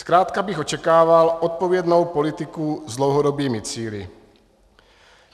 Zkrátka bych očekával odpovědnou politiku s dlouhodobými cíli.